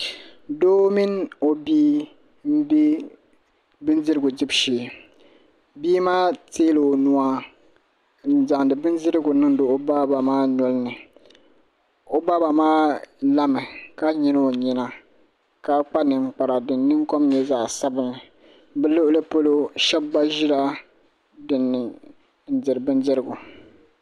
Doo mini o bia n bɛ bindirigu dibu shee bia maa teela o nua n zaŋdi bindirigu niŋdi o baa maa nolini o baaba maa lami ka nyili o nyina ka kpa ninkpara din nin kom nyɛ zaɣ sabinli bi luɣuli polo shab gba ʒila dinni n diri bindirigu